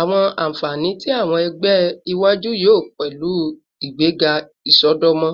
Awọn anfani ti awọn ẹgbẹ iwaju yoo pẹlu igbega isọdọmọ,